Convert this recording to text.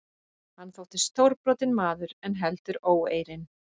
Hann þótti stórbrotinn maður en heldur óeirinn.